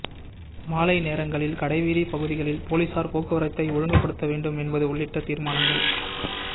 மாலை நேரங்களில் கடைவீதி பகுதிகளில் போலீசார் போக்குவரத்தை ஒழுங்கு படுத்த வேண்டும் என்பது உள்ளிட்ட தீர்மானங்கள்